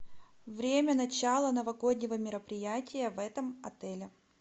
время начала новогоднего мероприятия в этом отеле